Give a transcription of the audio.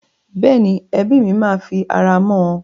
Bẹ́ẹ̀ni, ẹbí mi máa fi ara mọ́ ọn.